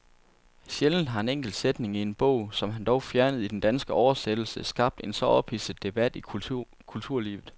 Sjældent har en enkelt sætning i en bog, som han dog fjernede i den danske oversættelse, skabt en så ophidset debat i kulturlivet.